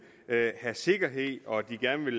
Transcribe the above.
have sikkerhed og at de gerne vil